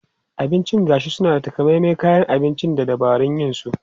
Abincin gashi suna da takamaiman kayan abinci da dabarun yin su.